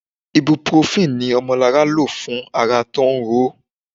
Ibuprofen ni Omolara lò fún ara tí ó ń ro.